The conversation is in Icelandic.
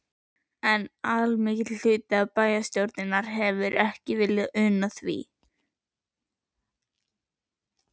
En allmikill hluti bæjarstjórnar hefir ekki viljað una því.